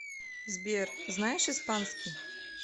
сбер знаешь испанский